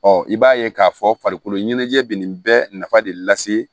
i b'a ye k'a fɔ farikolo ɲɛnajɛ bɛ nin bɛɛ nafa de lase